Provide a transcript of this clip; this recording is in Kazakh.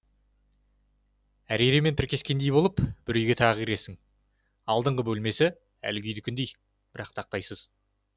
әриремен тіркескендей боп бір үйге тағы кіресің алдыңғы бөлмесі әлгі үйдікіндей бірақ тақтайсыз